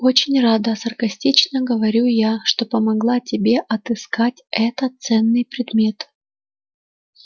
очень рада саркастично говорю я что помогла тебе отыскать этот ценный предмет